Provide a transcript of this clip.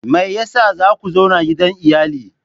Me yasa za ku zauna gidan iyali?